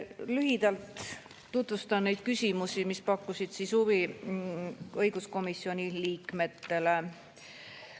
Lühidalt tutvustan neid küsimusi, mis pakkusid huvi õiguskomisjoni liikmetele.